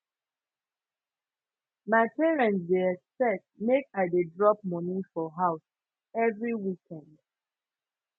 my parents dey expect make i dey drop money for house every weekend